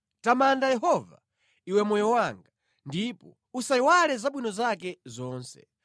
Tamanda Yehova, iwe moyo wanga, ndipo usayiwale zabwino zake zonse.